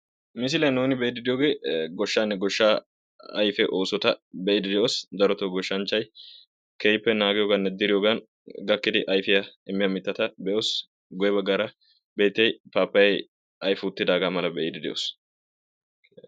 Misiliyan nuni be'idi deiyoge gooshshane gooshsha ayfe oossotta be'idi de'os. Daroto gooshshanchay keehipe naggiyoganine diriyogan gakidi ayfiya immiya miittata be'os. Guyye baggara pappayay ayfi uttidaga mala be'idi de'os.